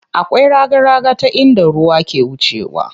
Akwai raga raga ta inda ruwa ke wucewa.